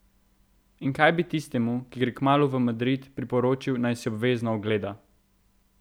In kaj bi tistemu, ki gre kmalu v Madrid, priporočil, naj si obvezno ogleda?